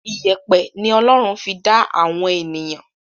ìyẹ̀pẹ̀ ni Ọlọ́run fi dá àwọn ènìyàn.